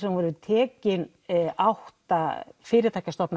voru tekin átta fyrirtæki